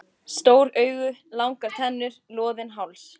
Stór augu, langar tennur, loðinn háls.